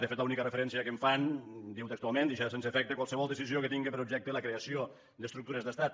de fet l’única referència que en fan diu textualment deixar sense efecte qualsevol decisió que tingui per objecte la creació d’estructures d’estat